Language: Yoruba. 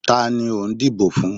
Ta ni o n dibò fún?